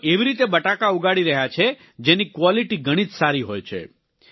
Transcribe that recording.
તેઓ એવી રીતે બટાકા ઉગાડી રહ્યા છે જેની ક્વોલિટી ઘણી જ સારી હોય છે